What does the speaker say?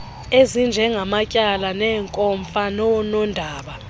ezinjengamatyala neenkomfa noonondaba